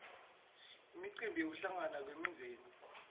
imicimbi yekuhlangana kwemindzeni